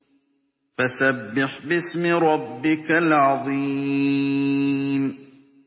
فَسَبِّحْ بِاسْمِ رَبِّكَ الْعَظِيمِ